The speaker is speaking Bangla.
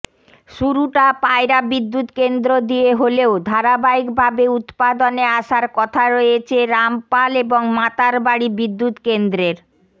শুরুটা পায়রা বিদ্যুৎকেন্দ্র দিয়ে হলেও ধারাবাহিকভাবে উৎপাদনে আসার কথা রয়েছে রামপাল এবং মাতারবাড়ি বিদ্যুৎকেন্দ্রের